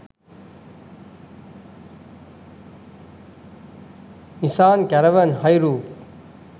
nisan caravan hi roof